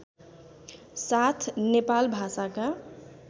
साथ नेपाल भाषाका